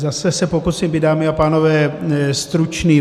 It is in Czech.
Zase se pokusím být, dámy a pánové, stručný.